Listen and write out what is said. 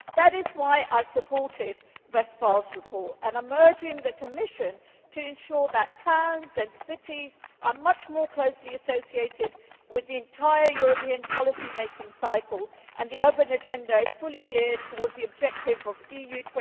That is why I supported Kerstin Westphal's report and why I am urging the Commission to ensure that towns and cities are much more closely associated with the entire European policy-making cycle and that the urban agenda is fully geared towards the objectives of EU